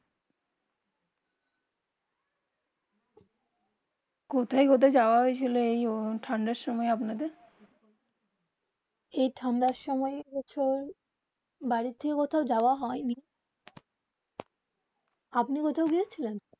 কোথায় কোথায় যাওবা হয়ে ছিল যে ঠান্ডা সময়ে আপনার দের যেই ঠান্ডা সময়ে যেই বছর বাড়ি থেকে কোথাও যাওবা হয়ে নি আপনি কোথাও গেয়ে ছিলেন